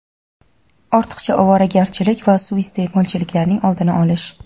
ortiqcha ovoragarchilik va suiiste’molchiliklarning oldini olish;.